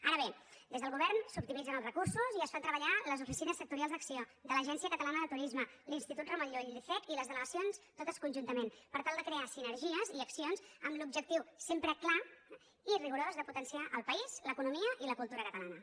ara bé des del govern s’optimitzen els recursos i es fan treballar les oficines sectorials d’acc1ó de l’agència catalana de turisme l’institut ramon llull l’icec i les delegacions totes conjuntament per tal de crear sinergies i accions amb l’objectiu sempre clar i rigorós de potenciar el país l’economia i la cultura catalana